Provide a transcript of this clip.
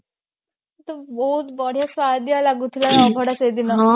ବହୁତ ବଢିଆ ସୁଆଦିଆ ଲାଗୁଥିଲା ଅଭଡା ସେଦିନ